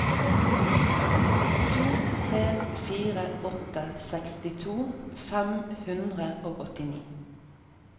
to tre fire åtte sekstito fem hundre og åttini